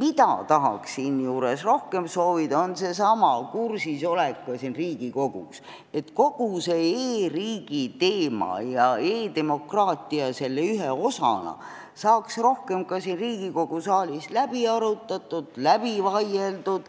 Mida tahaks siinjuures rohkem soovida, on seesama kursisolek Riigikogus – et kogu e-riigi teema ja e-demokraatia selle ühe osana saaks rohkem ka siin saalis läbi arutatud, läbi vaieldud,